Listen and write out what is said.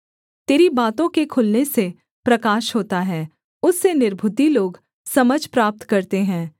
तेरी बातों के खुलने से प्रकाश होता है उससे निर्बुद्धि लोग समझ प्राप्त करते हैं